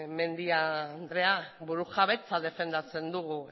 mendia anderea burujabetza defendatzen dugu